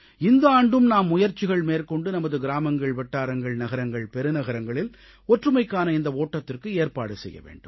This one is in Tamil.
இந்த ஆண்டும் நாம் முயற்சிகள் மேற்கொண்டு நமது கிராமங்கள் வட்டாரங்கள் நகரங்கள் பெருநகரங்களில் ஒற்றுமைக்கான இந்த ஓட்டத்திற்கு ஏற்பாடு செய்ய வேண்டும்